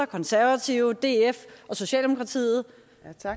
konservative df og socialdemokratiet